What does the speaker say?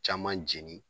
Caman jeni